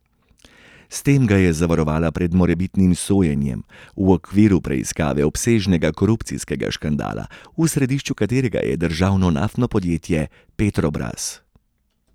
S tem ga je zavarovala pred morebitnim sojenjem v okviru preiskave obsežnega korupcijskega škandala, v središču katerega je državno naftno podjetje Petrobras.